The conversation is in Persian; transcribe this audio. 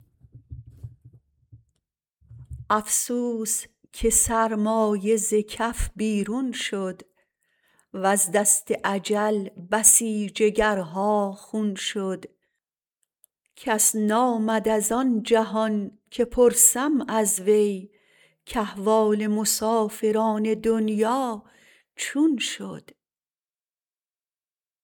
افسوس که سرمایه ز کف بیرون شد وز دست اجل بسی جگرها خون شد کس نآمد از آن جهان که پرسم از وی کاحوال مسافران دنیا چون شد